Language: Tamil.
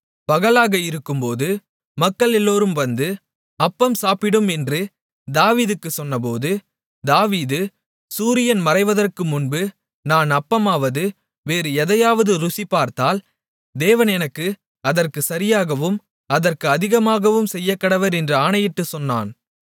பகலாக இருக்கும்போது மக்கள் எல்லோரும் வந்து அப்பம் சாப்பிடும் என்று தாவீதுக்குச் சொன்னபோது தாவீது சூரியன் மறைவதற்கு முன்பு நான் அப்பமாவது வேறு எதையாவது ருசி பார்த்தால் தேவன் எனக்கு அதற்குச் சரியாகவும் அதற்கு அதிகமாகவும் செய்யக்கடவர் என்று ஆணையிட்டுச் சொன்னான்